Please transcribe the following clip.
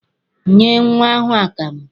Nye nnwa ahụ akamụ!